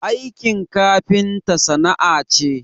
Aikin kafinta sana'a ce